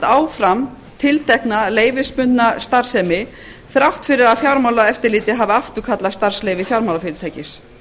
áfram tiltekna leyfisbundna starfsemi þrátt fyrir að fjármálaeftirlitið hafi afturkallað starfsleyfi fjármálafyrirtækis